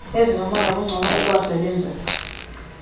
ezinomoya kungcono ukuwasebenzisa